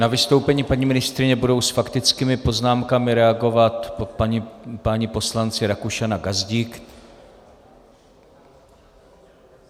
Na vystoupení paní ministryně budou s faktickými poznámkami reagovat páni poslanci Rakušan a Gazdík.